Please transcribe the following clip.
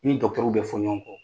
I ni gɔkitɛriw bɛ fɔ ɲɔgɔn kɔ!